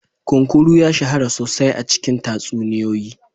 Kunkuru ya shahara sosai a cikin tatsuniyoyi.